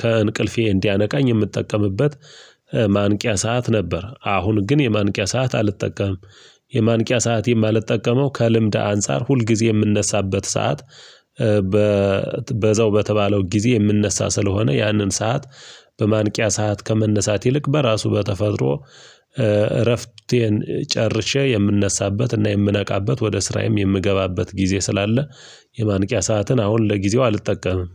ከእንቅልፌ እንዲያነቃኝ የምጠቀምበት ማንቂያ ሰዓት ነበር። አሁን ግን የማንቂያ ሰዓት አልጠቀምም። የማንቂያ ሰዓት የማልጠቀመው ከልምድ አንፃር ሁልጊዜ የምነሳበት ሰዓት በዛው በተባለው ጊዜ የምነሳ ስለሆነ ያንን ሰዓት በማንቂያ ሰዓት ከመነሳት ይልቅ በራሱ በተፈጥሮ እረፍቴን ጨርሼ የምነሳበትና የምነቃበት ወደ ስራዬም የምገባበት ጊዜ ስላለ። የማንቂያ ሰዓትን አሁን ለጊዜው አልጠቀምም።